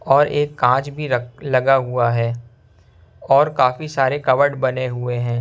और एक कांच भी रख लगा हुआ है और काफी सारे कवर्ड हुए हैं।